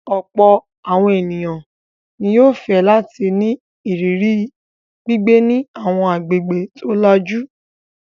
Ọ̀pọ̀ àwọn ènìyàn ni yóò fẹ́ láti ní ìrírí gbígbé ní àwọn agbègbè tó lajú.